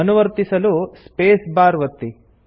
ಅನುವರ್ತಿಸಲು space bar ಒತ್ತಿ